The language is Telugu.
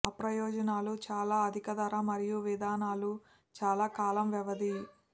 అప్రయోజనాలు చాలా అధిక ధర మరియు విధానాలు చాలా కాలం వ్యవధి